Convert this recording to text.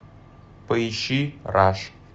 поищи раш